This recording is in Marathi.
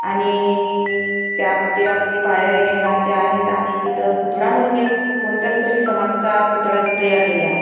आणि त्या मंदिरामध्ये पायऱ्याही भिंगाच्या आहेत आणि तिथं पुतळा म्हणून एक कोणत्यातरी समाजचा पुतळाच तयार केला आहे.